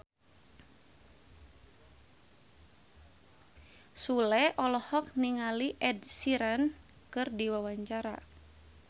Sule olohok ningali Ed Sheeran keur diwawancara